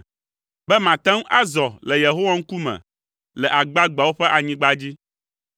be mate ŋu azɔ le Yehowa ŋkume le agbagbeawo ƒe anyigba dzi.